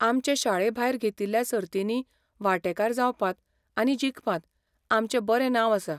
आमचे शाळेभायर घेतिल्ल्या सर्तींनी वांटेकार जावपांत आनी जिखपांत आमचें बरें नांव आसा.